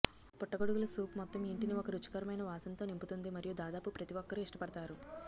పుట్టగొడుగుల సూప్ మొత్తం ఇంటిని ఒక రుచికరమైన వాసనతో నింపుతుంది మరియు దాదాపు ప్రతి ఒక్కరూ ఇష్టపడతారు